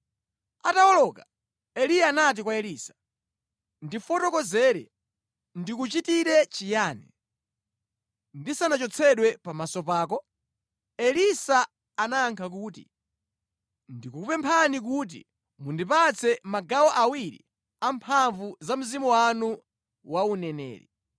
Atawoloka, Eliya anati kwa Elisa, “Ndifotokozere, ndikuchitire chiyani ndisanachotsedwe pamaso pako?” Elisa anayankha kuti, “Ndikupemphani kuti mundipatse magawo awiri a mphamvu za mzimu wanu wa uneneri.”